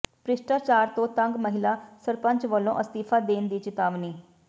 ਭ੍ਰਿਸ਼ਟਾਚਾਰ ਤੋਂ ਤੰਗ ਮਹਿਲਾ ਸਰਪੰਚ ਵੱਲੋਂ ਅਸਤੀਫ਼ਾ ਦੇਣ ਦੀ ਚਿਤਾਵਨੀ